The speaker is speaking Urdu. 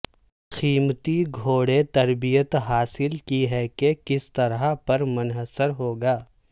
قیمت گھوڑے تربیت حاصل کی ہے کہ کس طرح پر منحصر ہوگا